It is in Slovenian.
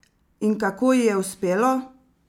In kako ji je uspelo?